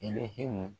Elihi